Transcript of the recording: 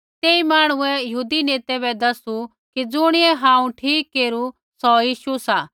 तेई मांहणुऐ यहूदी नेतै बै दसु कि ज़ुणियै हांऊँ ठीक केरू सौ यीशु सा